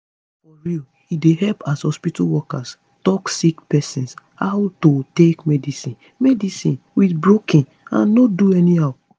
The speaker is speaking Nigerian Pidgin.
for real e dey help as hospitol workers tell sick pesin how to take medicine medicine with broken and no do anyhow